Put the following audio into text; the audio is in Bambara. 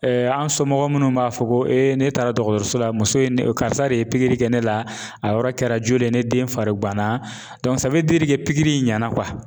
an somɔgɔ minnu b'a fɔ ko ne taara dɔgɔtɔrɔso la muso ye ne karisa de ye pikiri kɛ ne la a yɔrɔ kɛra joli ye ne den fari ganna pikiri in ɲɛna